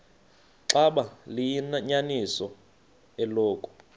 xaba liyinyaniso eloku